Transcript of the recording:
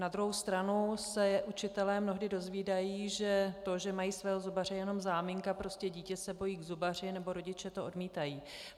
Na druhou stranu se učitelé mnohdy dozvídají, že to, že mají svého zubaře, je pouze záminka, prostě dítě se bojí k zubaři nebo rodiče to odmítají.